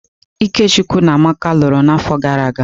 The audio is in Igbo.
Ikechukwu na Amaka lụrụ n'afọ gara aga.